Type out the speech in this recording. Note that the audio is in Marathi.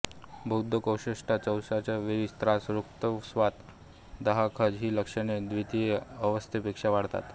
बद्धकोष्ठता शौचाच्या वेळी त्रास रक्तस्राव दाहखाज ही लक्षणे व्दितिय अवस्थेपेक्षा वाढतात